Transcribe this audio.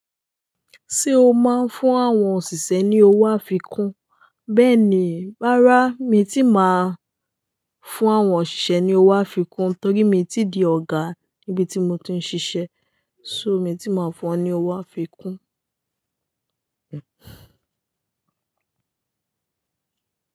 Ṣé o máa ń fún àwọn òṣìṣẹ́ ní owó àfikún? Bẹ́ẹ̀ni, rárá mi ti máa ń fún àwọn òṣìṣẹ́ ní owó àfikún torí mi ti di ọ̀gá níbi tí mo ti ń ṣiṣẹ́, ṣó mi ti máa ń fún wọn ní owó àfikún.